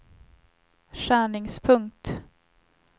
skärningspunkt